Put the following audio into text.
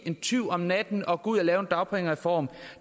en tyv om natten og gå ud og lave en dagpengereform